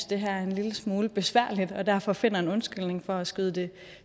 det her er en lille smule besværligt og derfor finder en undskyldning for at skyde det